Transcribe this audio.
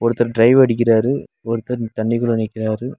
ஒருத்தர் டைவ் அடிக்கிறாரு ஒருத்தர் தண்ணிக்குள்ள நிக்கிறாரு.